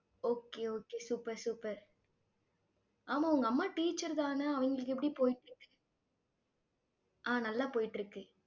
okay okay super super ஆமா, உங்க அம்மா teacher தானே அவங்களுக்கு எப்படி போயிட்டிருக்கு ஆஹ் நல்ல போய்ட்டு இருக்கு.